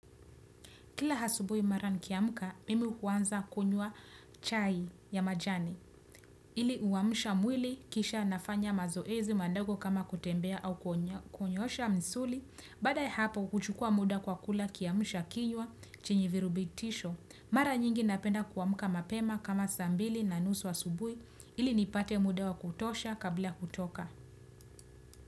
Kila asubuhi mara nkiamka, mimi huwanza kunywa chai ya majani. Ili huwamsha mwili, kisha nafanya mazoezi madago kama kutembea au kunyosha misuli, baada ya hapo kuchukua muda kwa kula kiamsha kinywa, chenye virubitisho. Mara nyingi napenda kuamka mapema kama saa mbili na nusu wa asubuhi, ili nipate muda wa kutosha kabla kutoka.